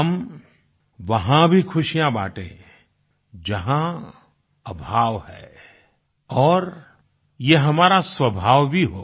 हम वहाँ भी खुशियाँ बांटे जहाँ अभाव है और ये हमारा स्वभाव भी हो